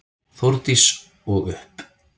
Þórdís: Og upp?